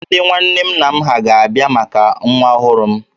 Ndị nwanne nna m ha ga-abịa maka nwa ọhụrụ m